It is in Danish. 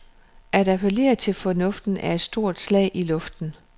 At appellere til fornuften er et stort slag i luften.